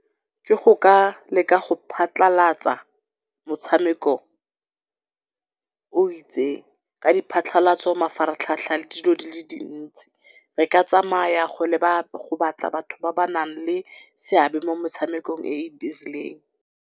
Ke go ka leka go phatlhalatsa motshameko o itseng ka di phatlhalatso, mafaratlhatlha, le dilo di le dintsi. Re ka tsamaya go leba, go batla batho ba ba nang le seabe mo motshamekong e e dirileng.